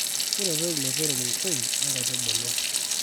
keretoki ilotorok eishoi oo nkaitobolo